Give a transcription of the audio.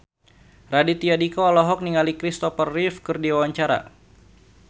Raditya Dika olohok ningali Kristopher Reeve keur diwawancara